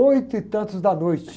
Oito e tantos da noite.